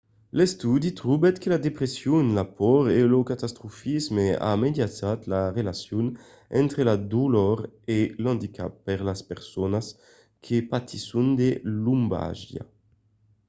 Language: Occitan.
l'estudi trobèt que la depression la paur e lo catastrofisme a mediatizat la relacion entre la dolor e l'andicap per las personas que patisson de lombalgia